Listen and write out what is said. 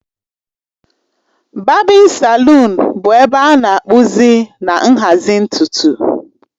Babin salụn bụ ebe a na-akpụzi na nhazi ntutu